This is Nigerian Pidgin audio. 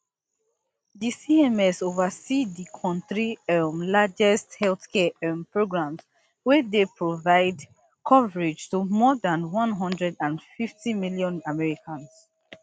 di cms oversee di kontri um largest healthcare um programs wey dey provide coverage to more dan one hundred and fifty million americans